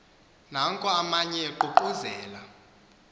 nanko amanye eququzela